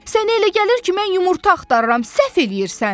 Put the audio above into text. Sənə elə gəlir ki, mən yumurta axtarıram, səhv eləyirsən.